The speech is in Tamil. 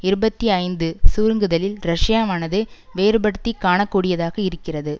இருபத்தி ஐந்து சுருங்குதலில் ரஷ்யாவானது வேறுபடுத்தி காண கூடியதாக இருக்கிறது